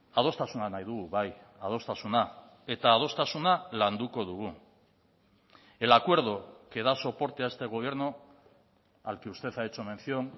adostasuna nahi dugu bai adostasuna eta adostasuna landuko dugu el acuerdo que da soporte a este gobierno al que usted ha hecho mención